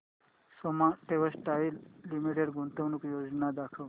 Soma textile limited गुंतवणूक योजना दाखव